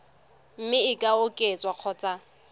mme e ka oketswa kgotsa